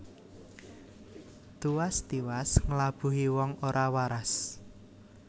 Tuwas tiwas nglabuhi wong ora waras